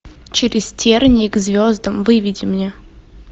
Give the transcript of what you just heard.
через тернии к звездам выведи мне